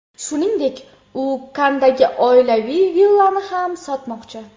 Shuningdek, u Kanndagi oilaviy villani ham sotmoqchi.